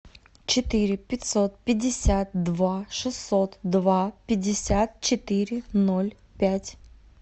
четыре пятьсот пятьдесят два шестьсот два пятьдесят четыре ноль пять